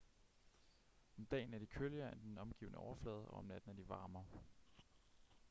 om dagen er de køligere end den omgivende overflade og om natten er de varmere